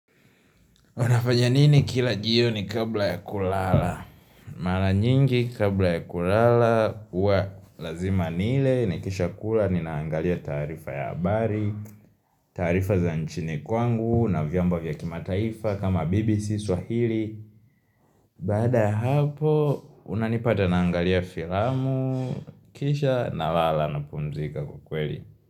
Unafanya nini kila jioni kabla ya kulala? Mara nyingi kabla ya kulala huwa lazima nile nikisha kula ninaangalia tarifa ya habari taarifa za nchini kwangu na vyombo vya kimataifa kama BBC swahili baada ya hapo unanipata naangalia filamu Kisha nalala napumzika kwa kweli.